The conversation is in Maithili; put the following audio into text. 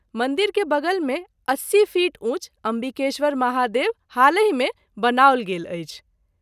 मंदिर के बगल मे 80 फीट ऊँच अम्बिकेश्वर महादेव हालहि मे बनाओल गेल अछि।